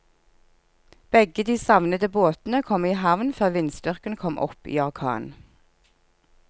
Begge de savnede båtene kom i havn før vindstyrken kom opp i orkan.